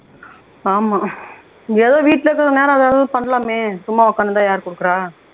ஆமா ஆஹ் ஏதோ வீட்ல இருக்கிற நேரம் வேற ஏதாவது பண்ணலாமே சும்மா உக்காந்திருந்தா யார் குடுக்குறா